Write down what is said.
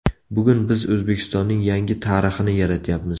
Bugun biz O‘zbekistonning yangi tarixini yaratyapmiz.